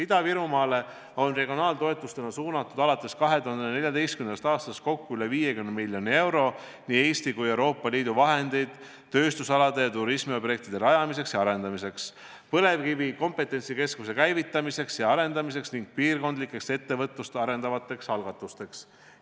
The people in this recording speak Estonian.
Ida-Virumaale on regionaaltoetustena suunatud alates 2014. aastast kokku üle 50 miljoni euro nii Eesti kui ka Euroopa Liidu vahendeid tööstusalade ja turismiobjektide rajamiseks ja arendamiseks, põlevkivi kompetentsikeskuse käivitamiseks ja arendamiseks ning piirkondlikeks ettevõtlust arendavateks algatusteks.